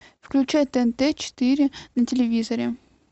включай тнт четыре на телевизоре